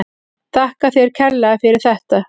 Þakka þér kærlega fyrir þetta.